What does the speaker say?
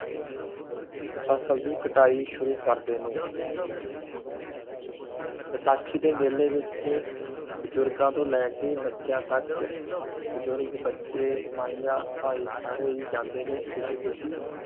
ਫਸਲ ਦੀ ਕਟਾਈ ਸ਼ੁਰੂ ਕਰਦੇ ਨੇ। ਬੈਸਾਖੀ ਦੇ ਮੇਲੇ ਵਿੱਚ ਬਜ਼ੁਰਗਾਂ ਤੋਂ ਲੈਕੇ ਬਚਿਆ ਤਕ ਬਜ਼ੁਰਗ, ਬੱਚੇ, ਮਈਆ ਭਾਈ ਸਾਰੇ ਹੈ ਜਾਂਦੇ ਨੇ ਖੁਸ਼ੀ ਖੁਸ਼ੀ